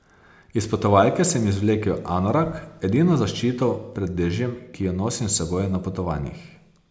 Iz potovalke sem izvlekel anorak, edino zaščito pred dežjem, ki jo nosim s seboj na potovanjih.